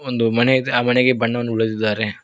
ಒಂದು ಮನೆ ಇದೆ ಆ ಮನೆಗೆ ಬಣ್ಣವನ್ನು ಉಳಿದಿದ್ದಾರೆ.